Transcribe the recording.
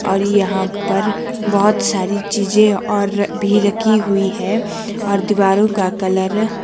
और यहां पर बहोत सारी चीजें और भी रखी हुई है और दीवारों का कलर --